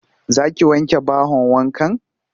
Za ki wanke bahon wankan?